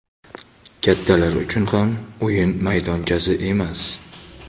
kattalar uchun ham o‘yin maydonchasi emas.